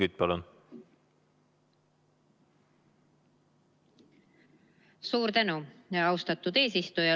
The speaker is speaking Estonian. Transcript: Suur tänu, austatud eesistuja!